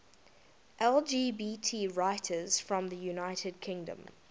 lgbt writers from the united kingdom